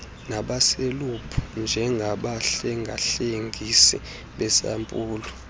nabaselebhu njengabahlengahlengisi besampulu